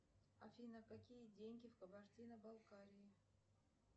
афина какие деньги в кабардино балкарии